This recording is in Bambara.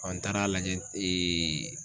n taara lajɛ